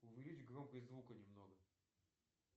увеличь громкость звука немного